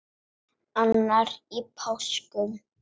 Annar í páskum.